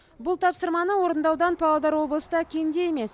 бұл тапсырманы орындаудан павлодар облысы да кенде емес